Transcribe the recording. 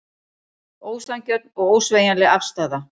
Ósanngjörn og ósveigjanleg afstaða